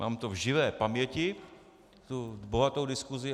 Mám to v živé paměti, tu bohatou diskusi.